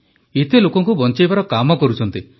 ଏତେ ଲୋକଙ୍କୁ ବଞ୍ଚାଇବାର କାମ କରୁଛନ୍ତି